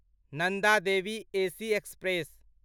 Nanda Devi AC express